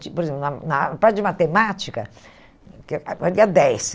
Por exemplo, na na parte de matemática, dez.